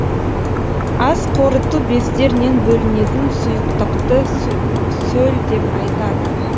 асқорыту бездерінен бөлінетін сұйықтықты сөл деп айтады